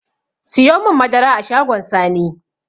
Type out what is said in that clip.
Siyomin madara a shagon sani